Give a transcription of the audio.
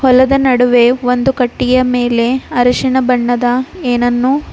ಹೊಲದ ನಡುವೆ ಒಂದು ಕಟ್ಟಿಗೆಯ ಮೇಲೆ ಅರಿಶಿನ ಬಣ್ಣದ ಏನನ್ನು--